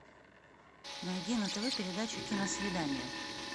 найди на тв передачу киносвидание